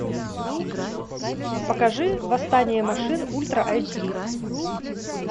покажи восстание машин ультра эйч ди